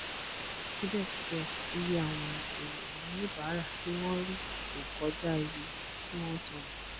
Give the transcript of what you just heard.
sibẹsibẹ iye àwọn ènìyàn oníbàárà ti wọn rí o kọjá iye tí wọn sọnu